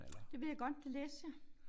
Det ved jeg godt det læste jeg